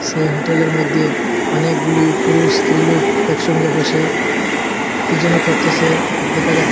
সেই হোটেলের মধ্যে অনেকগুলি পুরুষ স্ত্রীলোক একসঙ্গে বসে কী যেন করতেসে দেখা যাচ্ছে।